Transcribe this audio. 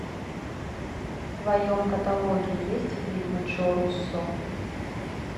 в твоем каталоге есть фильмы джо руссо